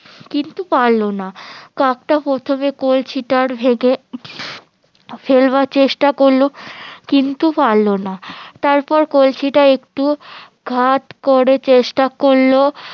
কিন্তু পারলো না কাকটা প্রথমে কলসিটার ফেলবার চেষ্টা করলো কিন্তু পারলো না তার পর কলসিটা একটু করে চেষ্টা করলো